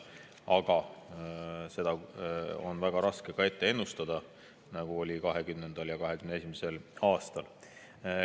Aga seda on väga raske ennustada, nagu oli ka 2020. ja 2021. aastal.